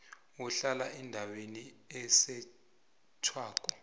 ohlala endaweni esetjhwako